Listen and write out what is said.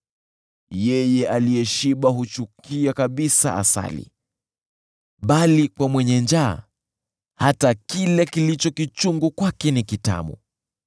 Yeye aliyeshiba huchukia kabisa asali, bali kwa mwenye njaa hata kile kilicho kichungu kwake ni kitamu.